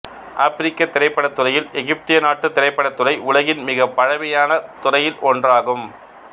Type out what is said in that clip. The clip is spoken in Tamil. ஆப்பிரிக்கத் திரைப்படத்துறையில் எகிப்திய நாட்டுத் திரைப்படத்துறை உலகின் மிகப் பழமையான துறை ஒன்றாகும்